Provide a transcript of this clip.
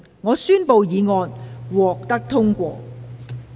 我宣布議案獲得通過。